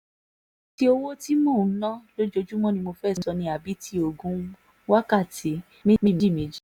ṣé ti owó tí mò ń ná lójúmọ́ ni mo fẹ́ẹ́ sọ ni àbí tí oògùn oníwákàtí méjì-méjì